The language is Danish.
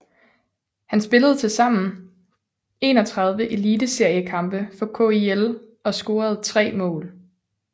Han spillede til sammen 31 eliteseriekampe for KIL og scorede tre mål